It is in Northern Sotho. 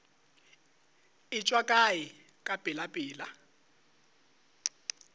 e tšwa kae ka pelapela